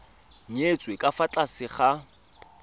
nyetswe ka fa tlase ga